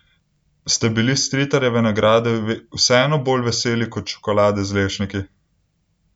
Ste bili Stritarjeve nagrade vseeno bolj veseli kot čokolade z lešniki?